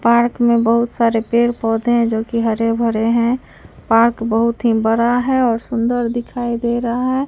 Park में बहुत सारे पेड़ पौधे हैं जो कि हरे भरे हैं पार्क बहुत ही बड़ा है और सुंदर दिखाई दे रहा है।